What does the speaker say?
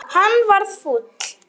Hann varð fúll.